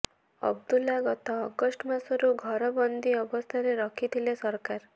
ଅବଦୁଲ୍ଲା ଗତ ଅଗଷ୍ଟ ମାସରୁ ଘର ବନ୍ଦୀ ଅବସ୍ଥାରେ ରଖିଥିଲେ ସରକାର